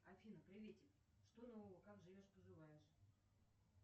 афина приветик что нового как живешь поживаешь